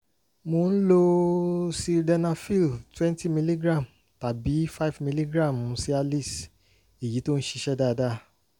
mo ń lo sildenafil twenty miligram tàbí five milligram cialis èyí tó ṣiṣẹ́ dáadáa